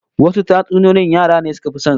Wasu tatsuniyoyin yara ne suka fi son su